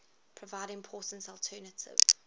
provide important alternative